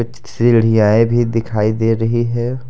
सीढ़ीआए भी दिखाई दे रही है।